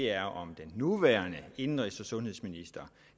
er om den nuværende indenrigs og sundhedsminister